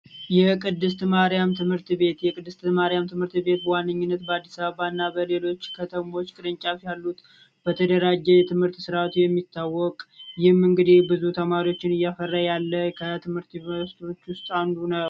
የቅድስት ማሪያም ትምህርት ቤት የቅድስት ማሪያም ትምህርት ቤት በዋነኝነት በአዲስ አበባ እና በሌሎች ከተሞች ቅርንጫፍ ያሉት በተደራጀ የትምህርት ስርአት የሚታወቅ ይህም እንግዲህ ብዙ ተማሪዎችን እያፈራ ያለ ከትምህርት ቤቶች ውስጥ አንዱ ነው።